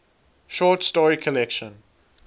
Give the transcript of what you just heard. short story collection